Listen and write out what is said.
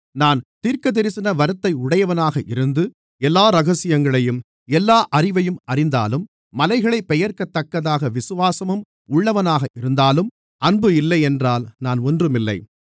நான் தீர்க்கதரிசன வரத்தை உடையவனாக இருந்து எல்லா இரகசியங்களையும் எல்லா அறிவையும் அறிந்தாலும் மலைகளைப் பெயர்க்கத்தக்கதாக விசுவாசமும் உள்ளவனாக இருந்தாலும் அன்பு இல்லையென்றால் நான் ஒன்றுமில்லை